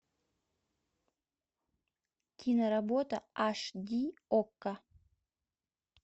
киноработа аш ди окко